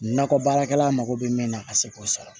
Nakɔ baarakɛla mago bɛ min na ka se k'o sɔrɔ